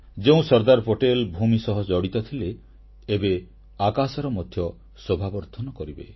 ଯେଉଁ ସର୍ଦ୍ଦାର ପଟେଲ ଭୂମି ସହ ଜଡ଼ିତ ଥିଲେ ଏବେ ଆକାଶର ମଧ୍ୟ ଶୋଭାବର୍ଦ୍ଧନ କରିବେ